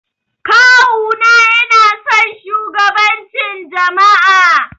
Kawu na yana son shugabancin jama'a.